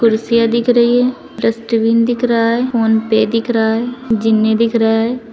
कुर्सियां दिख रही है डस्टबिन दिख रहा है फोनपे दिख रहा है जीने दिखे रहा है।